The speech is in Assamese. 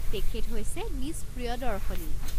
তেখেত হৈছে মিছ প্ৰিয়দৰ্শনী।